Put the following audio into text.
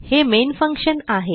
हे main function आहे